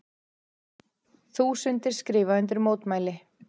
Þúsundir skrifa undir mótmæli